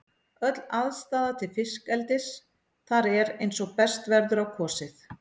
Öll aðstaða til fiskeldis þar er eins og best verður á kosið.